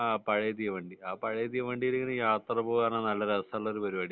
പഴയ തീവണ്ടി ആഹ് പഴയ തീവണ്ടിയിൽ ഇങ്ങനെ യാത്ര പോവാൻ നല്ല രസമുള്ളൊരു പരിപാടിയാണ്